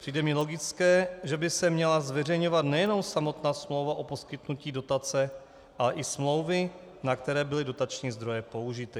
Přijde mi logické, že by se měla zveřejňovat nejenom samotná smlouva o poskytnutí dotace, ale i smlouvy, na které byly dotační zdroje použity.